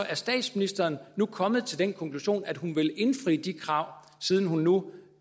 er statsministeren nu kommet til den konklusion at hun vil indfri de krav siden hun nu